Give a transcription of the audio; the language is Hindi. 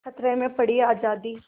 खतरे में पड़ी आज़ादी